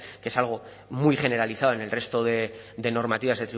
que es algo muy generalizado en el resto de normativas